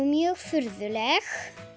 mjög furðuleg